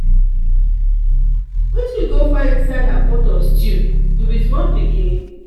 wetin you go find inside her pot of stew? you be small pikin?